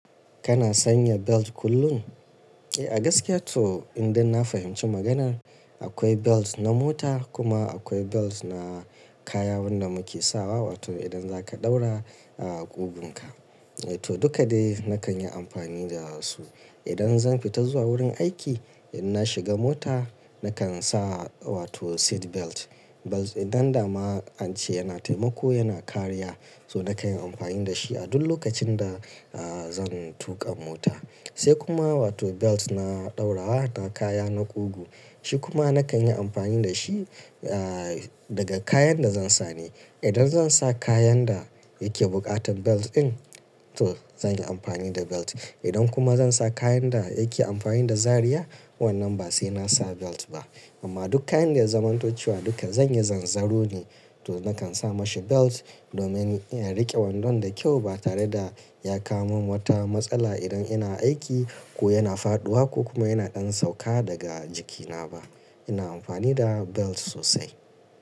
Kana sanya belt kullum? Eh, a gaskiya to in dai na fahimci maganar akwai belt na mota kuma akwai belt na kaya wanda muke sawa wato idan zaka ɗaura a ƙugunka. Eh to duka dai nakan yi amfani da su. Idan zan fita zuwa wurin aiki idan na shiga mota nakan sa wato seat belt. Belt dan dama an ce yana taimako yana kariya, so nakan yi amfani da shi a duk lokacin da, ah, zan tuƙa mota. Sai kuma wato belt na ɗaurawa na kaya na ƙugu. Shi kuma nakan yi amfani da shi, ah, daga kayan da zan sa ne. Idan zan sa kayan da yake buƙatan belt din to zan yi amfani da belt. Idan kuma zan sa kayan da yake amfani da zariya wannan ba sai na sa belt ba. Amma duk kayan da ya zamantocewa duka zan yi zanzaro ne to nakan sa mashi belt domin in riƙe wandon da kyau ba tare da ya kawo min wata matsala idan ina aiki ko yana faɗuwa ko kuma yana ɗan sauka daga jikina ba. Ina amfani da belt sosai.